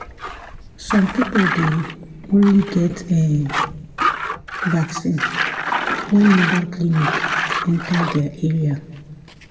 some people dey only get[um]vaccine when mobile clinic enter their area.